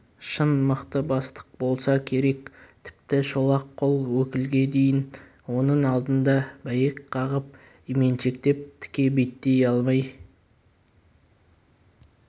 шын мықты бастық болса керек тіпті шолақ қол өкілге дейін оның алдында бәйек қағып именшектеп тіке беттей алмай